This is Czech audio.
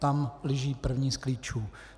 Tam leží první z klíčů.